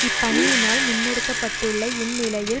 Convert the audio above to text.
இப்பணி யினால் முன்னெடுக்கப்பட்டுள்ள இந்நிலையில்